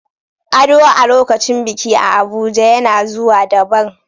Ado a lokacin biki a Abuja yana zuba daban.